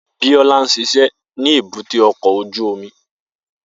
Bisola ń ṣiṣẹ́ ní èbúté ọkọ̀ ojú omi